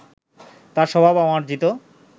তাঁর স্বভাব অমার্জিত